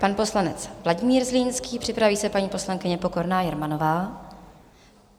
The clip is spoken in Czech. Pan poslanec Vladimír Zlínský, připraví se paní poslankyně Pokorná Jermanová.